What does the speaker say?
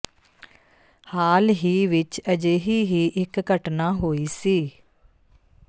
ਹਾਲ ਹੀ ਵਿੱਚ ਅਜਿਹੀ ਹੀ ਇੱਕ ਘਟਨਾ ਹੋਈ ਸੀ